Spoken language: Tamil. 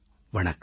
வணக்கம்